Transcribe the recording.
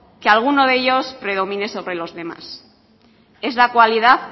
que alguno de ellos predomine sobre los demás es la cualidad